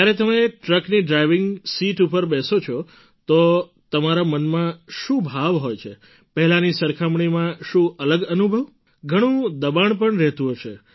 જ્યારે તમે ટ્રકની ડ્રાઇવિંગ સીટ પર બેસો છો તો તમારા મનમાં શું ભાવ હોય છે પહેલાંની સરખામણીમાં શું અલગ અનુભવ ઘણું દબાણ પણ રહેતું હશે